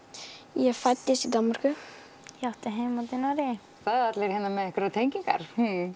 ég fæddist í Danmörku ég átti heima í Noregi það eru allir með einhverjar tengingar